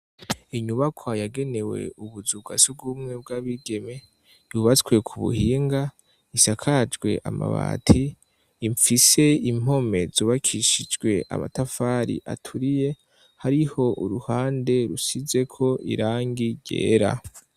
Inyubakwa yagenewe ubuzu bwasugumwe bwabigeme yubatswe ku buhinga isakajwe amabati ifise impome zubakishijwe amatafari aturiye hariho uruhande rusizeko irangi ryera.